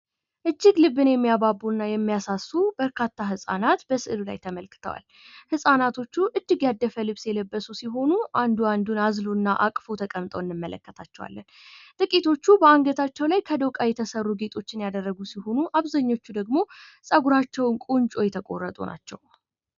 እጅግ ልብን የሚያባቡና የሚያሳሱ በርካታ ሕፃናት በሰዕሉ ላይ ተመልክተዋል ።ህፃናቶች እጅግ ያደደፉ ልብስ የለበሱ ሲሆኑ ፤ አንዱ አንዱን አዝሎ እና አቅፎ ተቀምጠው እንመለከታቸው። ጥቂቶቹ በአንገታቸው ላይ ከዶቃ የተሠሩ ጌጦችን ያደረጉ ሲሆኑ አብዛኞቹ ደግሞ ፀጉራቸው ቁንጆ የተቋረጡ ናቸው።